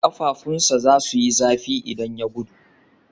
Ƙafafunsa za su yi zafi idan ya gudu.